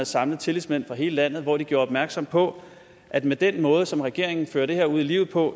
samlet tillidsmænd fra hele landet hvor de gjorde opmærksom på at med den måde som regeringen fører det her ud i livet på